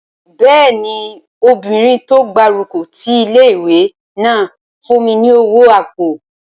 Bẹ́ẹ̀ni, obìnrin tó gbárùkù ti ilé-ìwé náà fún mi ní owó àpò